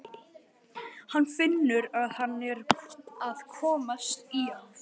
Hann finnur að hann er að komast í ham.